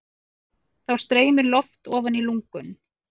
Þá streymir loft ofan í lungun.